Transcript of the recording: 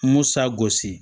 Musa gosi